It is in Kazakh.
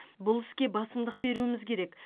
бұл іске басымдық беруіміз керек